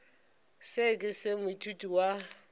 seo ke se moithuti wa